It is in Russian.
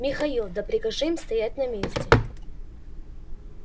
михаил да прикажи им стоять на месте